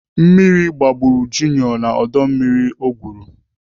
Mmiri gbagburu Junior na ọdọ mmiri ọ gwụrụ.